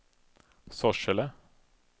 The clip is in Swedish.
Sorsele